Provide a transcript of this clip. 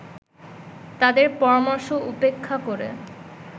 তাদের পরামর্শ উপেক্ষা করে